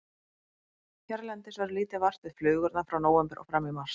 Hérlendis verður lítið vart við flugurnar frá nóvember og fram í mars.